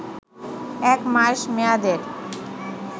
এক মাস মেয়াদের